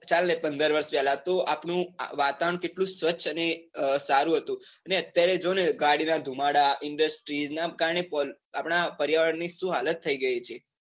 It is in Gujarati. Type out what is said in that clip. પંદર વરસ પેલા વાતાવરણ કેટલું સ્વચ્છ અને સારું હતું. અને અત્યરે જોને ગાડી ના ધુમાડા industries ના કારણે આપડા પર્યાવરણ ની સુ હાલત થઇ ગયી છે.